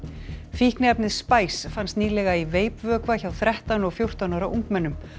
fíkniefnið fannst nýlega í veipvökva hjá þrettán og fjórtán ára ungmennum